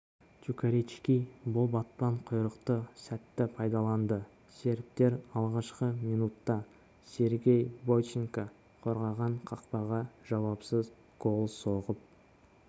чукарички бұл батпан құйрықты сәтті пайдаланды сербтер алғашқы минутта сергей бойченко қорғаған қақпаға жауапсыз гол соғып